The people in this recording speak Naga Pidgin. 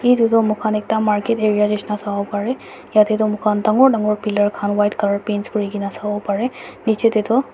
itutu muikhan ekta market area nishina sawo pareh yatey doh muikhan dangor dangor pillar khan white color paint kurigena sawo pareh nichetey doh.